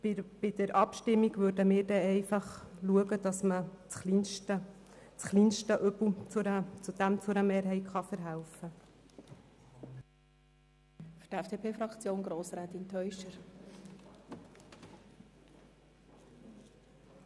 Bei der Abstimmung werden wir einfach dafür sorgen, dass dem kleinsten Übel zu einer Mehrheit verholfen wird.